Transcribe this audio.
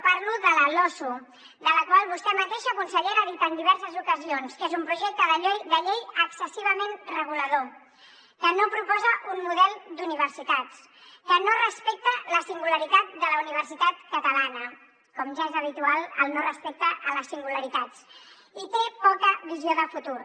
parlo de la losu de la qual vostè mateixa consellera ha dit en diverses ocasions que és un projecte de llei excessivament regulador que no proposa un model d’universitats que no respecta la singularitat de la universitat catalana com ja és habitual el no respecte a les singularitats i té poca visió de futur